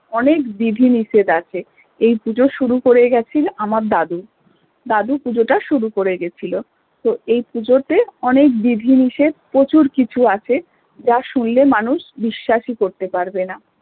অনেক বিধি নিষেধ আছে এই পুজো শুরু করে গেছেন আমার দাদু, দাদু পুজোটা শুরু করে গিয়েছিল তো এই পুজোতে অনেক বিধি নিষেধ প্রচুর কিছু আছে যা শুনলে মানুষ বিশ্বাসই করতে পারবেনা